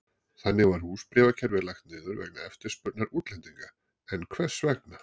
Þannig var húsbréfakerfið lagt niður vegna eftirspurnar útlendinga, en hvers vegna?